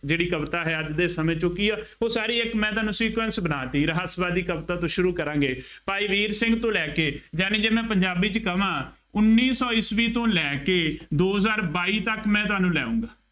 ਜਿਹੜੀ ਕਵਿਤਾ ਹੈ ਅੱਜ ਦੇ ਸਮੇਂ ਚ ਉਹ ਕੀ ਹੈ, ਉਹ ਸਾਰੀ ਇੱਕ ਮੈਂ ਤੁਹਾਨੂੰ sequence ਬਣਾ ਦਿੱਤੀ। ਰਹੱਸਵਾਦੀ ਦੀ ਕਵਿਤਾ ਤੋਂ ਸ਼ੁਰੂ ਕਰਾਂਗ। ਭਾਈ ਵੀਰ ਸਿੰਘ ਤੋਂ ਲੈ ਕੇ ਯਾਨੀ ਜੇ ਮੈਂ ਪੰਜਾਬੀ ਚ ਕਹਵਾਂ, ਉੱਨੀ ਸੌ ਈਸਵੀ ਤੋਂ ਲੈ ਕੇ ਦੋ ਹਜ਼ਾਰ ਬਾਈ ਤੱਕ ਮੈਂ ਤੁਹਾਨੂੰ ਲੈ ਆਊਗਾਂ।